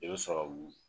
I bɛ sɔrɔ k'u